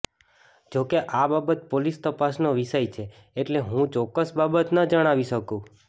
જોકે આ બાબત પોલીસ તપાસનો વિષય છે એટલે હું ચોક્કસ બાબત ન જણાવી શકુ